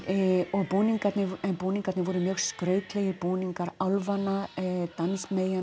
og búningarnir búningarnir voru mjög skrautlegir búningar álfanna